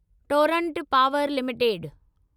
Torrent Power limited